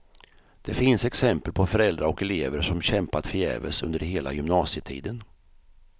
Det finns exempel på föräldrar och elever som kämpat förgäves under hela gymnasietiden.